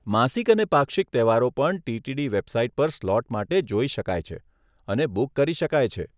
માસિક અને પાક્ષિક તહેવારો પણ ટીટીડી વેબસાઇટ પર સ્લોટ માટે જોઈ શકાય છે અને બુક કરી શકાય છે.